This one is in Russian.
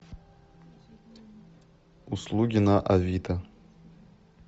услуги на авито